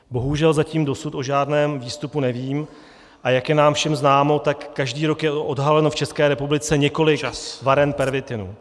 Bohužel zatím dosud o žádném výstupu nevím, a jak je nám všem známo, tak každý rok je odhaleno v České republice několik varen pervitinu.